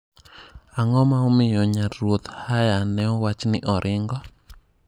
Ang'o ma omiyo nyar ruoth Haya ne owach ni oringo?